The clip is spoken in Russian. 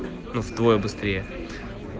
в двое быстрее